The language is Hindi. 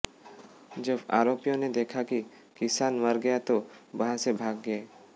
जब आरोपियों ने देखा कि किसान मर गया तो वहां से भाग गए